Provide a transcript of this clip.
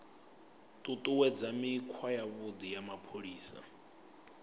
ṱuṱuwedza mikhwa yavhuḓi ya mapholisa